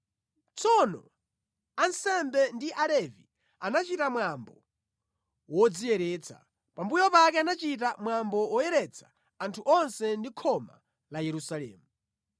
Tsono ansembe ndi Alevi anachita mwambo wodziyeretsa. Pambuyo pake anachita mwambo woyeretsa anthu onse ndi khoma la Yerusalemu.